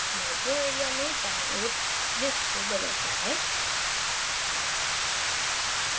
यह draw area में दायीं ओर list को बदलता है